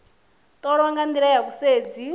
ṱolwa nga nḓila ya vhusedzi